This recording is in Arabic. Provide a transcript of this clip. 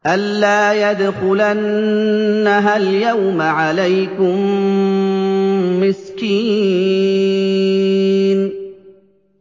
أَن لَّا يَدْخُلَنَّهَا الْيَوْمَ عَلَيْكُم مِّسْكِينٌ